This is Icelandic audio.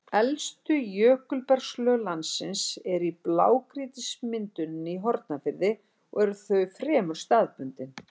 Elstu jökulbergslög landsins eru í blágrýtismynduninni í Hornafirði og eru þau fremur staðbundin.